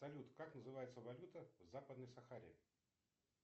салют как называется валюта в западной сахаре